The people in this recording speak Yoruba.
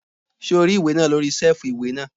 Ṣé o rí ìwé náà lórí sẹ́ẹ̀fù ìwé náà?